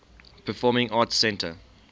performing arts center